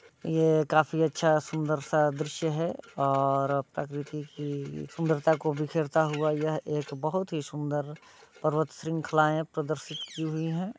यह काफी अच्छा-सा सुन्दर सा दृश्य है और प्रकीर्ति की सुन्दर को बिखेरता हुवा यह एक बहुत ही सुंदर पर्वतशृंख्लाए पर्द्षित किये हुयी है।